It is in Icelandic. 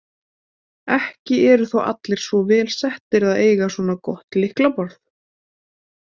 Ekki eru þó allir svo vel settir að eiga svona gott lyklaborð.